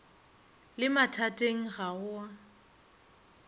le mathateng ga go a